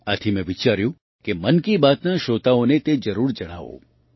આથી મેં વિચાર્યું કે મન કી બાતના શ્રોતાઓને તે જરૂર જણાવું